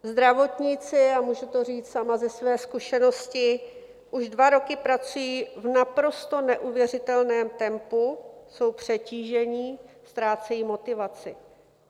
Zdravotníci, a můžu to říct sama ze své zkušenosti, už dva roky pracují v naprosto neuvěřitelném tempu, jsou přetížení, ztrácejí motivaci.